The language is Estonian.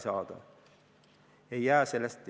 Seega sekkumisega piiratakse kindlustusandjate ettevõtlusvabadust.